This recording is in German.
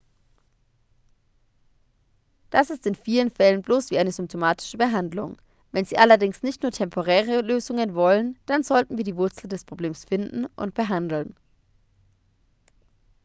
das ist in vielen fällen bloß wie eine symptomatische behandlung wenn sie allerdings nicht nur temporäre lösungen wollen dann sollten wir die wurzel des problems finden und behandeln